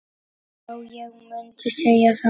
Já, ég mundi segja það.